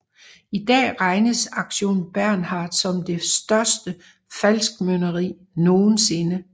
I dag regnes Aktion Bernhard som det største falskmøntneri nogensinde